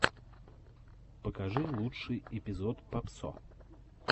покажи лучший эпизод папсо